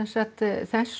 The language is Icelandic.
þess